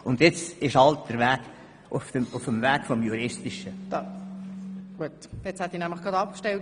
Und nun ist es halt auf dem juristischen Weg.